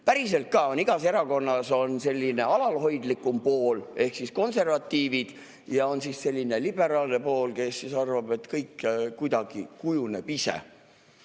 Päriselt ka on igas erakonnas alalhoidlikum pool ehk konservatiivid ja on liberaalne pool, kes arvab, et kõik kuidagi kujuneb ise.